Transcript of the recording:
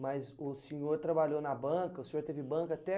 Mas o senhor trabalhou na banca, o senhor teve banca até...